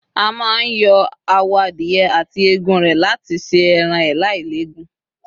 a ma n yo awọ adìye ati Egun rẹ lati se eran e lailegun